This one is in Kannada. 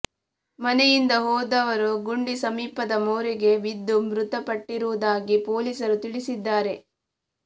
ಮನೆಯಿಂದ ಹೋದವರು ಗುಂಡಿ ಸಮೀಪದ ಮೋರಿಗೆ ಬಿದ್ದು ಮೃತಪಟ್ಟಿರುವುದಾಗಿ ಪೊಲೀಸರು ತಿಳಿಸಿದ್ದಾರೆ